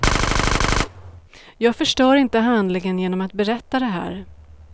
Jag förstör inte handlingen genom att berätta det här.